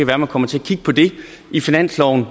være man kommer til